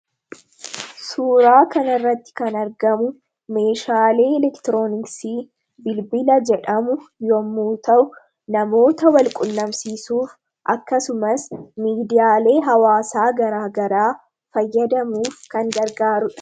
Suuraa kanarratti kan argamu meeshaalee elektirooniksii bilbila jedhamu yommuu ta'u, namoota wal qunnamsiisuuf akkasumas miidiyaalee hawwaasaa garaa garaa fayyadamuu kan gargaarudha.